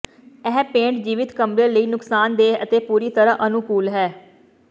ਇਹ ਪੇਂਟ ਜੀਵਤ ਕਮਰੇ ਲਈ ਨੁਕਸਾਨਦੇਹ ਅਤੇ ਪੂਰੀ ਤਰ੍ਹਾਂ ਅਨੁਕੂਲ ਹੈ